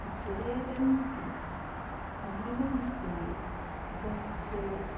nitureeba emiti hamwe n'omusiri gw'omuceeri.